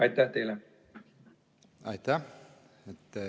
Aitäh!